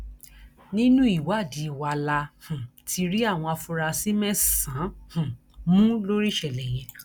nínú ìwádìí wa la um ti rí àwọn afurasí mẹsànán um mú lórí ìṣẹlẹ yẹn